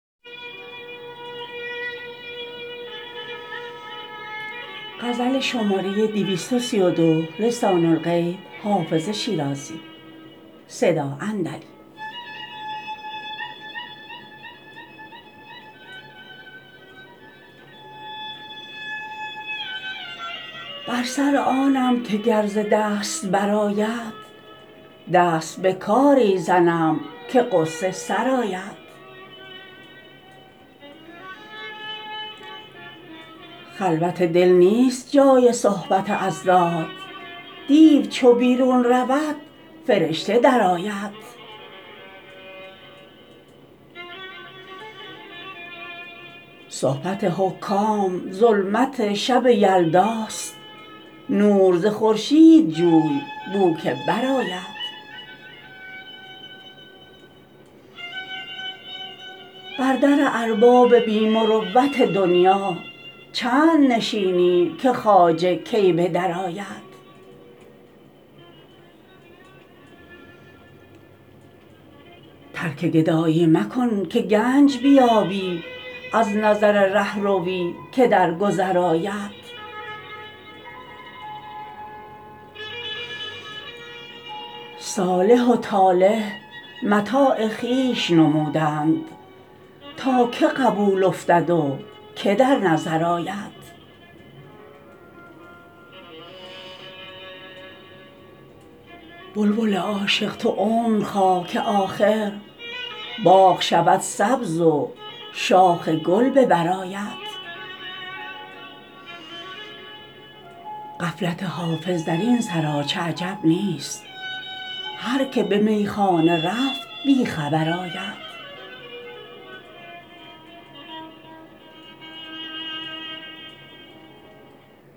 بر سر آنم که گر ز دست برآید دست به کاری زنم که غصه سرآید خلوت دل نیست جای صحبت اضداد دیو چو بیرون رود فرشته درآید صحبت حکام ظلمت شب یلداست نور ز خورشید جوی بو که برآید بر در ارباب بی مروت دنیا چند نشینی که خواجه کی به درآید ترک گدایی مکن که گنج بیابی از نظر رهروی که در گذر آید صالح و طالح متاع خویش نمودند تا که قبول افتد و که در نظر آید بلبل عاشق تو عمر خواه که آخر باغ شود سبز و شاخ گل به بر آید غفلت حافظ در این سراچه عجب نیست هر که به میخانه رفت بی خبر آید